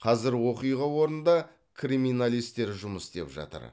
қазір оқиға орнында криминалистер жұмыс істеп жатыр